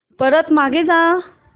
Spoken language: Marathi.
परत मागे जा